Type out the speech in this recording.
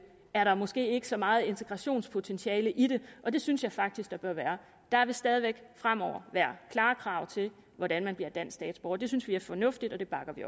er der måske ikke så meget integrationspotentiale i det og det synes jeg faktisk der bør være der vil stadig væk fremover være klare krav til hvordan man bliver dansk statsborger det synes vi er fornuftigt og det bakker vi